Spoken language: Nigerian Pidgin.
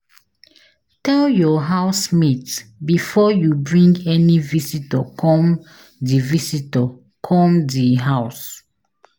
Tell your house mate before you bring any visitor come de visitor come di house